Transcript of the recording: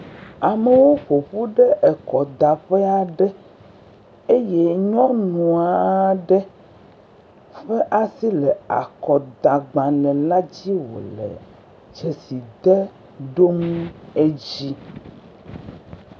Amewo ƒo ƒu ɖe ekɔdaƒe aɖe eye nyɔnu aɖe ƒe asi le akɔdagbalẽ la dzi wòle dzesi dem dom edzi